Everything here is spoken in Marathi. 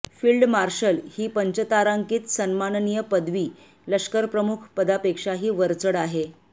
फिल्ड मार्शल ही पंचतारांकित सन्माननीय पदवी लष्करप्रमुख पदापेक्षाही वरचढ आहे